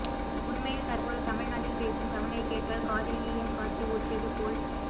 உண்மையில் தற்போது தமிழ் நாட்டில் பேசும் தமிழைக் கேட்டால் காதில் ஈயம் காய்ச்சி ஊற்றியது போல்